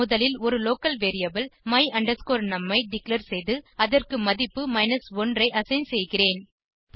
முதலில் ஒரு local variable my num ஐ டிக்ளேர் செய்து அதற்கு மதிப்பு 1 ஐ அசைன் செய்கிறேன்